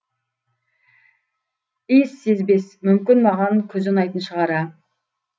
иіссезбес мүмкін маған күз ұнайтын шығар а